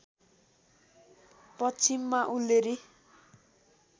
पश्चिममा उल्लेरी